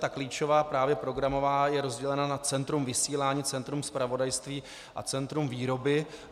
Ta klíčová, právě programová, je rozdělena na centrum vysílání, centrum zpravodajství a centrum výroby.